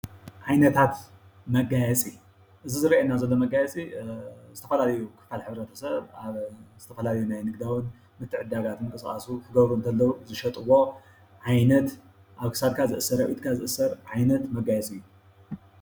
ዓይነታት መጋየፂ፦ እዚ ዝረኣየና ዘሎ መጋየፂ ዝተፈላለዩ ክፋል ሕብረተሰብ ኣብ ዝተፈላለዩ ናይ ንግድዊ ምትዕድዳጋቱ ምንቅስቃሱ ክገብሩ ከለው ዝሸጥዎ ዓይነት ኣብ ክሳድካ ዝእሰር ኣብ ኢድካ ዝእሰር ዓይነት መጋየፂ እዩ ።